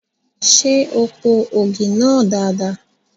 Ṣé o po ògì náà dada?